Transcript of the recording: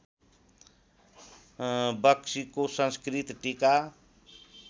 बख्शीको संस्कृत टीका